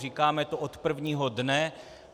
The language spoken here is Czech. Říkáme to od prvního dne.